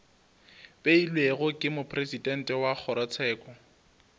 beilwego ke mopresidente wa kgorotsheko